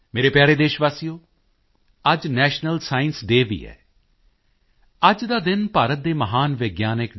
ਮੇਰੇ ਪਿਆਰੇ ਦੇਸ਼ਵਾਸੀਓ ਅੱਜ ਨੈਸ਼ਨਲ ਸਾਇੰਸ ਡੇਅ ਵੀ ਹੈ ਅੱਜ ਦਾ ਦਿਨ ਭਾਰਤ ਦੇ ਮਹਾਨ ਵਿਗਿਆਨੀ ਡਾ